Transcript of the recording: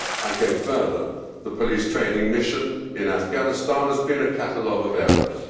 I go further the police training mission in Afghanistan has been a catalogue of errors.